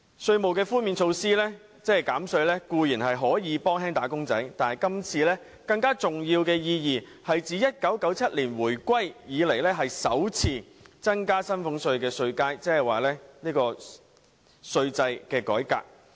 稅務寬免固然可以減輕"打工仔女"的負擔，但政府今次提出的其中一項措施有更重要的意義，就是自1997年香港回歸以來，首次增加薪俸稅稅階的稅制改革。